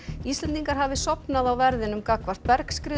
Íslendingar hafi sofnað á verðinum gagnvart